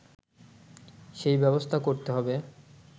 সেই ব্যবস্থা করতে হবে